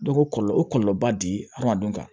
Dɔ ko kɔlɔlɔ o kɔlɔlɔba di hadamadenw ma